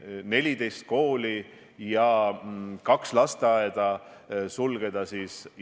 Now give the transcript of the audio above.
Täna ma ütlen siit austatud kõnetoolist välja, et minu arvates ei ole tänases seisus õige seda kontserti anda.